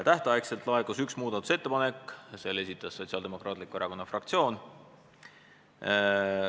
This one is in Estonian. Tähtajaks laekus üks muudatusettepanek, selle esitas Sotsiaaldemokraatliku Erakonna fraktsioon.